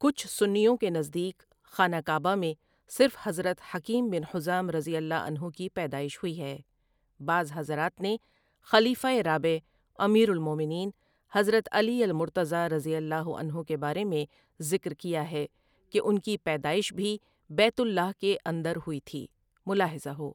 کچھ سنیوں کے نزدیک خانہ کعبہ میں صرف حضرت حکیم بن حزام رضی اللہ عنہ کی پیدائش ہوئی ہے بعض حضرات نے خلیفہ رابع، امیر الموٴمنین حضرت علی المرتضیٰ رضی اللہ عنہ کے بارے میں ذکر کیا ہے کہ ان کی پیدائش بھی بیت اللہ کے اندر ہوئی تھی، ملاحظہ ہو۔